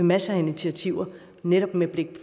masser af initiativer netop med blik